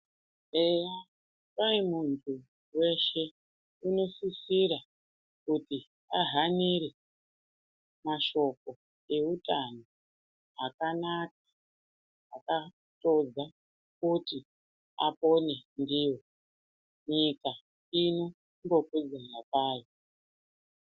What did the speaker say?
Eya kwai muntu weshe unosisira kuti ahanire mashoko eutano akanaka akatodza kuti apone ndiwo nyika ino...... .